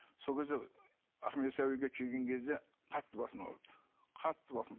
сол кезде ахмет яссауиге келген кезде қатты басым ауырды қатты басым